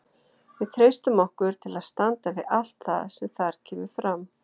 Við treystum okkur til að standa við allt það sem þar kemur fram.